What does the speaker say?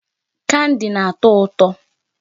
Candy na-atọ ụtọ.